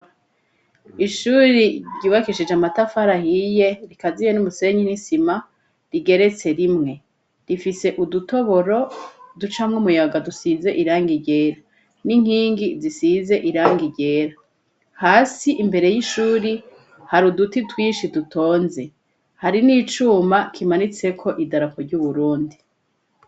Ishuri ryubakishije amatafarahiye rikaziye n'umusenyi n'isima rigeretse rimwe, rifise udutoboro ducamwo umuyaga dusize iranga igera n'inkingi zisize iranga igera hasi imbere y'ishuri hari uduti twishi dutonze hari ni ico uma kimanitseko idarako ry'uburundi.